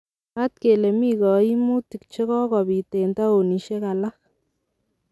Mwaat kele mii koimutik chogopit en taonisiek alak.